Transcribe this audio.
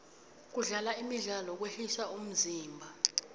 kudlala imidlalo kwehlisa umzimba